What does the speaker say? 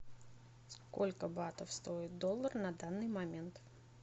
сколько батов стоит доллар на данный момент